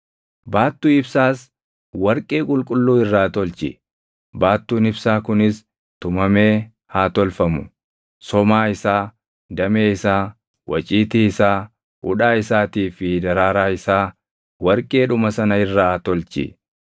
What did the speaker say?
“Baattuu ibsaas warqee qulqulluu irraa tolchi; baattuun ibsaa kunis tumamee haa tolfamu; somaa isaa, damee isaa, waciitii isaa, hudhaa isaatii fi daraaraa isaa warqeedhuma sana irraa tolchi.